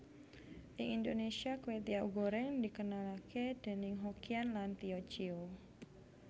Ing Indonesia kwetiau goreng dikenalake déning Hokkian lan Tio Ciu